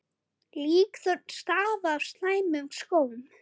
Líkþorn stafa af slæmum skóm.